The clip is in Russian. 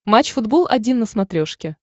матч футбол один на смотрешке